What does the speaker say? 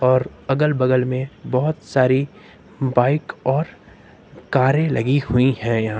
और अगल बगल में बहोत सारी बाइक और कारें लगी हुई है यहां--